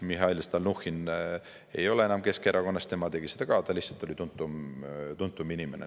Mihhail Stalnuhhin ei ole enam Keskerakonnas, tema tegi seda ka, ta lihtsalt oli tuntum inimene.